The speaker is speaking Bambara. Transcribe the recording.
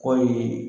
Kɔɔri